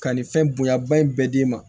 Ka nin fɛn bonya ba in bɛɛ d'e ma